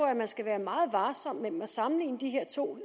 jeg man skal være meget varsom med at sammenligne de her to